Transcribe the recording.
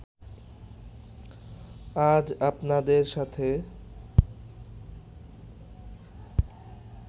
আজ আপনাদের সাথে